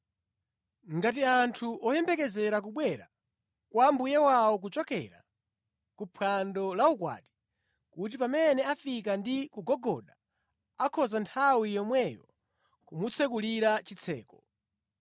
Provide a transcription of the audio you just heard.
ngati anthu oyembekezera kubwera kwa mbuye wawo kuchokera kuphwando la ukwati, kuti pamene afika ndi kugogoda akhoza nthawi yomweyo kumutsekulira chitseko.